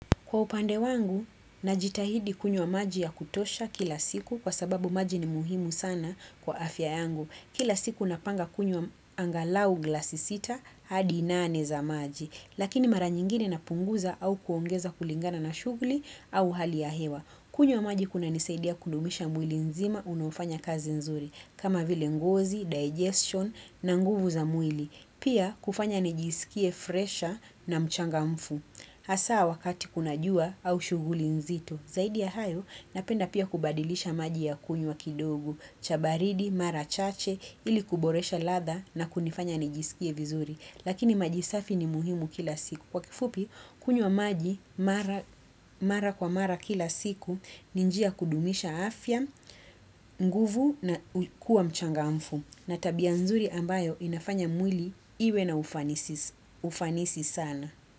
Kwa upande wangu, najitahidi kunywa maji ya kutosha kila siku kwa sababu maji ni muhimu sana kwa afya yangu. Kila siku napanga kunywa angalau glasi sita hadi nane za maji. Lakini mara nyingine napunguza au kuongeza kulingana na shughuli au hali ya hewa. Kunywa maji kunanisaidia kudumisha mwili mzima unaofanya kazi nzuri. Kama vile ngozi, digestion na nguvu za mwili. Pia kufanya nijisikie fresha na mchangamfu. Hasa wakati unajua au shughuli nzito. Zaidi ya hayo, napenda pia kubadilisha maji ya kunywa kidogo. Cha baridi, mara chache, ili kuboresha ladha na kunifanya nijisikie vizuri. Lakini maji safi ni muhimu kila siku. Kwa kifupi, kunywa maji mara kwa mara kila siku, ni njia ya kudumisha afya, nguvu na kuwa mchangamfu. Na tabia nzuri ambayo inafanya mwili iwe na ufanisi sana.